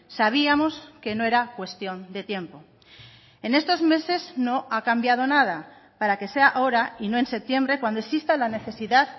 sabíamos que no era cuestión de tiempo en estos meses no ha cambiado nada para que sea ahora y no en septiembre cuando exista la necesidad